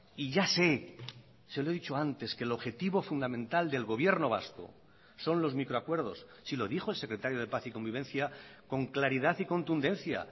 y ya sé se lo he dicho antes que el objetivo fundamental del gobierno vasco son los micro acuerdos si lo dijo el secretario de paz y convivencia con claridad y contundencia